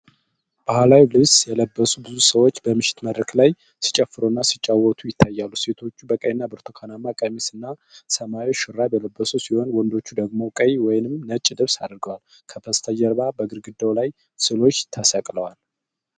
ባሕላዊ ልብስ የለበሱ ብዙ ሰዎች በምሽት መድረክ ላይ ሲጨፍሩ እና ሲጫወቱ ይታያሉ። ሴቶቹ በቀይና ብርቱካናማ ቀሚስ እና ሰማያዊ ሹራብ የለበሱ ሲሆን፣ ወንዶቹ ደግሞ ቀይ ወይም ነጭ ልብስ አድርገዋል። ከበስተጀርባ በግድግዳው ላይ ስዕሎች ተሰቅለዋል።